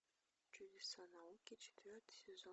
чудеса науки четвертый сезон